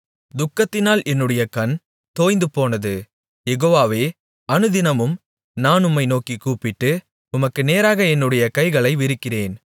துக்கத்தினால் என்னுடைய கண் தொய்ந்துபோனது யெகோவாவே அநுதினமும் நான் உம்மை நோக்கிக் கூப்பிட்டு உமக்கு நேராக என்னுடைய கைகளை விரிக்கிறேன்